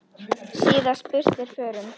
síðast burt er förum.